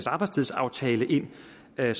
gøre